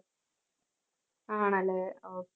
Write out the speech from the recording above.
ആണല്ലേ ഓ